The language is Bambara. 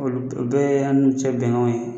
Bɛɛ yan n'u cɛ bɛnkanw ye